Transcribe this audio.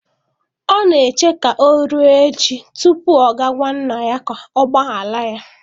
Ọ na-eche ka ọ ruo echi tupu ọ gaa gwa nna ya ka ọ gbaghara ya.